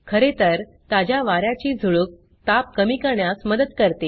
खरेतर ताज्या वा याची झुळूक ताप कमी करण्यास मदत करते